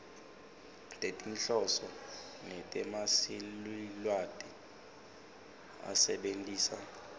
tetinhloso netetsamelilwati asebentisa